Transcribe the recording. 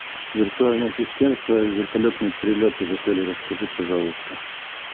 виртуальный ассистент про вертолетные перелеты в отеле расскажи пожалуйста